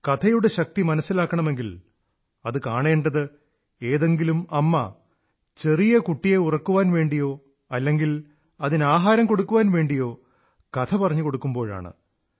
കഥയുടെ ശക്തി മനസ്സിലാക്കണമെങ്കിൽ അതു കാണേണ്ടത് ഏതെങ്കിലും അമ്മ ചെറിയ കുട്ടിയെ ഉറക്കാൻ വേണ്ടിയോ അതല്ലെങ്കിൽ അതിന് ആഹാരം കൊടുക്കാൻ വേണ്ടിയോ കഥ പറഞ്ഞുകൊടുക്കുമ്പോഴാണ്